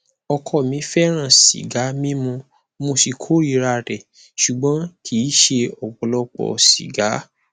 ọkọ mi fẹràn sìgá mímu mo sì kórìíra rẹ ṣùgbọn kì í ṣe ọpọlọpọ sìgá